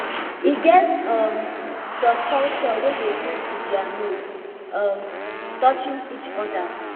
e get um some culture wey dey greet with their nose um touching each other